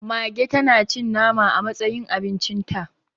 Mage tanacin nama a matsayin abincinta